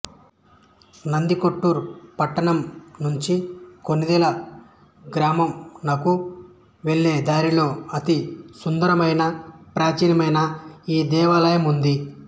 నందికొట్కూరు పట్టణం నుంచి కొణిదేల గ్రామం నకు వెళ్ళే దారిలో అతి సుందరమైన ప్రాచీనమైన ఈ దేవాలయము ఉంది